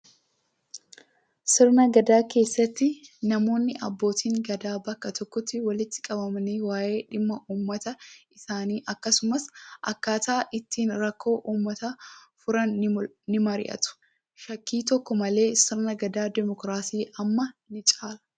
Sirna gadaa keessatti namoonni abbootiin gadaa bakka tokkotti walitti qabamanii waayee dhimma uummata isaanii akkasumas akkaataa ittiin rakkoo uummataa furan ni mari'atu. Shakkii tokko malee sirni gadaa dimookiraasii ammaa ni caala.